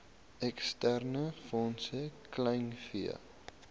eksterne fondse kleinvee